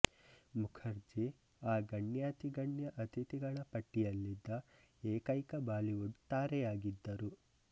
ಮುಖರ್ಜಿ ಆ ಗಣ್ಯಾತಿಗಣ್ಯ ಅತಿಥಿಗಳ ಪಟ್ಟಿಯಲ್ಲಿದ್ದ ಏಕೈಕ ಬಾಲಿವುಡ್ ತಾರೆಯಾಗಿದ್ದರು